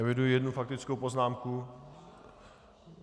Eviduji jednu faktickou poznámku.